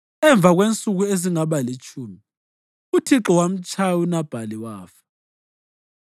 Emva kwensuku ezazingaba litshumi, uThixo wamtshaya uNabhali wafa.